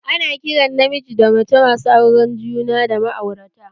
Ana kiran namiji da mace masu auren juna da ma'aurata